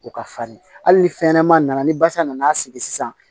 U ka farin hali ni fɛnɲɛnɛmanin nana ni basa nana sigi sisan